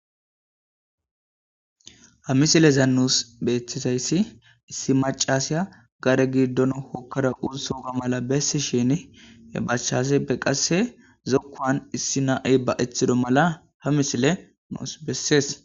ha misileza nuus beethisayssi issi macaseya gare giddon hokkara uusooga mala bessi shini he bachase pe qasse zokkoan issi nai ba7eththido mala ha misile nuus bessees